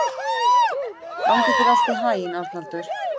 Gangi þér allt í haginn, Arnaldur.